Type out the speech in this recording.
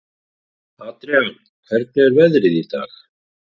Adrian, hvernig er veðrið í dag?